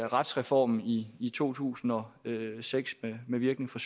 retsreformen i i to tusind og seks med virkning fra